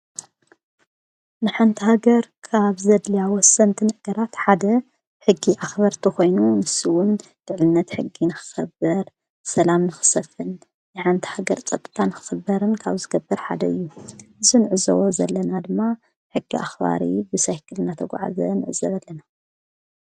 ንሓንታሃገር ካብ ዘድልያ ወሰንቲ ነገራት ሓደ ሕጊ ኣኽበርተኾይኑ ንሱዉን ድዕነት ሕጊ ንክኸበር ሰላም ንኽሰፍን ንሓንታ ሃገር ጠጥጣን ክኽበርን ካብ ዝገብር ሓደ እዩ ዝንዕ ዘዎ ዘለና ድማ ሕጊ ኣኽባሪ ብሳይክል ናተጕዓዘ ንዕዘለ ኣለና።